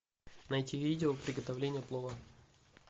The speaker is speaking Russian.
найти видео приготовления плова